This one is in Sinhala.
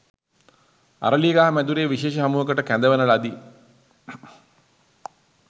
අරලියගහ මැදුරේ විශේෂ හමුවකට කැඳවන ලදි